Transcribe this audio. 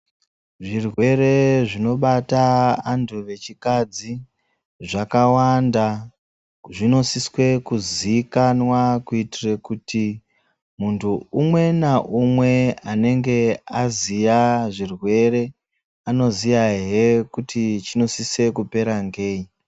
Zvirwere zvinobata antu echikadzi zvakawanda. Zvinosise kuzikanwa kuitire kuti muntu umwe naumwe anenge aziye zvirwere azoziyahe kuti chinosise kupera ngei.